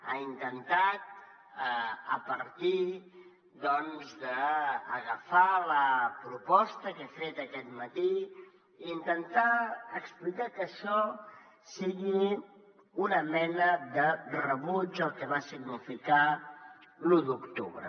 ha intentat a partir doncs d’agafar la proposta que he fet aquest matí explicar que això sigui una mena de rebuig al que va significar l’u d’octubre